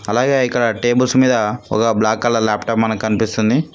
అలాగే ఇక్కడ టేబుల్స్ మీద ఒక బ్లాక్ కలర్ లాప్టాప్ మనకు కనిపిస్తుంది.